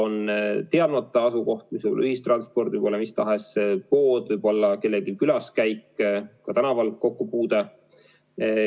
On teadmata nakatumiskoht, mis võib olla ühistransport, mis tahes pood, võib-olla kellegi külaskäik, ka tänaval kokkupuude.